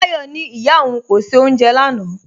Táyọ̀ ní ìyá ọ̀un kò ṣẹ̀ ọ́unjẹ̀ lánà